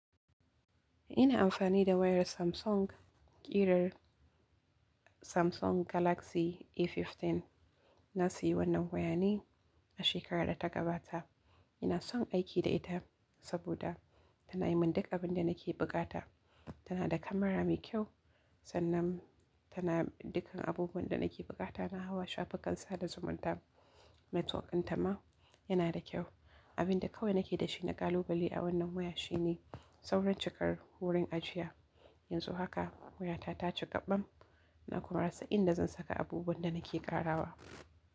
Ina amfani da wayar Samsung, ƙirar Samsung Galaxy A15. Na sayi wannan wayane a shekarar da ta gabata. Ina son aiki da ita saboda tana yi mun duk abin da nake bukata. Tana da kamara mai kyau sannan tana dukan abubuwan da nake bukata. Na hawa shafukansa da zumunta network dinta ma yana da kyau. Abin da kawai nake da shi na kalubale a wannan waya shine sauran cikar wurin ajiya. Yanzu haka wayata ta cika ɓam na kuma rasa inda zan saka abubuwan da nake ƙarawa.